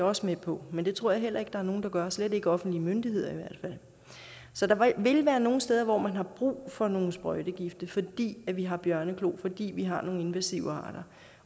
også med på men det tror jeg heller ikke at nogen gør i slet ikke offentlige myndigheder så der vil være nogle steder hvor man har brug for nogle sprøjtegifte fordi vi har bjørneklo fordi vi har nogle invasive arter